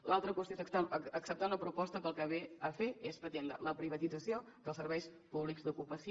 l’altra qüestió és acceptar una proposta que el que ve a fer és pretendre la privatització dels serveis públics d’ocupació